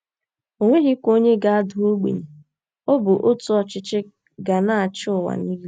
O nweghịkwa onye ga - ada ogbenye. Ọ bụ otu ọchịchị ga na - achị ụwa niile.